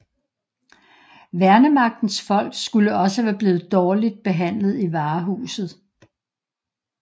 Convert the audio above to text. Værnemagtens folk skulle også være blevet dårligt behandlet i varehuset